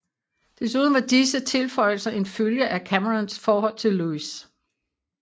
Desuden var disse tilføjelser en følge af Camerons forhold til Lewis